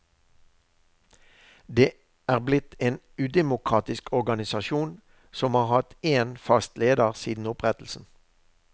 Det er blitt en udemokratisk organisasjon, som har hatt én fast leder siden opprettelsen.